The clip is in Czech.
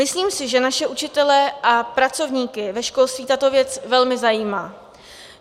Myslím si, že naše učitele a pracovníky ve školství tato věc velmi zajímá.